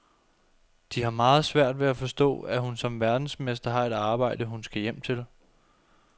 De har meget svært ved at forstå, at hun som verdensmester har et arbejde, hun skal hjem til.